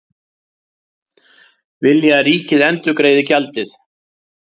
Vilja að ríkið endurgreiði gjaldið